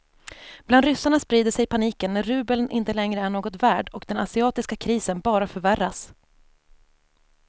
Bland ryssarna sprider sig paniken när rubeln inte längre är något värd och den asiatiska krisen bara förvärras.